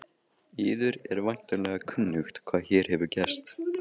Yður er væntanlega kunnugt hvað hér hefur gerst.